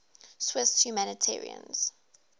swiss humanitarians